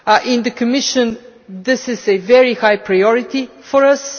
In the Commission this is a very high priority for us.